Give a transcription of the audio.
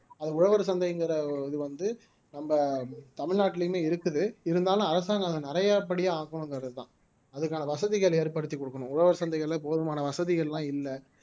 அது உழவர் சந்தைங்கிற ஒரு இது வந்து நம்ம தமிழ்நாட்டிலேயுமே இருக்குது இருந்தாலும் அரசாங்கம் அதை நிறையபடி ஆக்கணும்ங்கிறதுதான் அதுக்கான வசதிகள் ஏற்படுத்திக் கொடுக்கணும் உழவர் சந்தைகள்ல போதுமான வசதிகள் எல்லாம் இல்லை